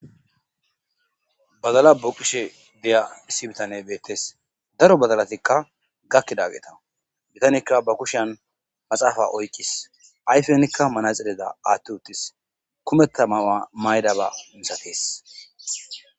bazala bo kishe deya issi bitane beettes daro badalatikka gakkidageeta bitanikka ba kushan maxaafa oykkis ayfenikka manaxeleda aathti uttis kumetta mawa maydaba misatees